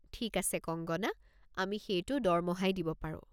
ঠিক আছে কঙ্গনা, আমি সেইটো দৰমহাই দিব পাৰো।